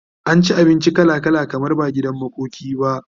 an ci abinci kala kala kamar ba gidan makoki ba